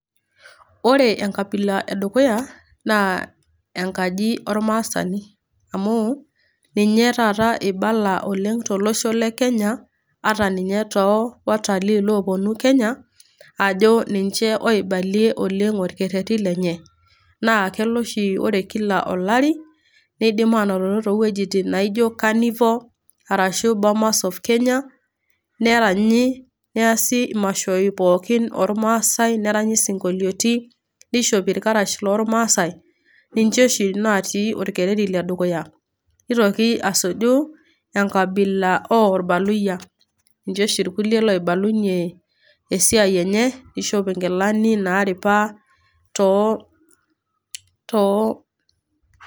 ore enkabila edukuya, naa enkaji ormaasani. amu ninye taata ibala oleng tolosho le kenya ata ninye too watalii loponu kenya ajo ninche oibalie oleng orkerreti lenye. naa kelo oshi ore kila olari nidim anototo towuejitin naijo carnivore arashu bomas of kenya neranyi niasi imashoi pookin ormaasae neranyi isinkolioti nishopi irkarash lormasae ninche oshi natii orkereri ledukuya nitoki asuju enkabila orbaluyia ninche oshi irkulie loibalunyie esiai enye nishop inkilani naripa tootoo.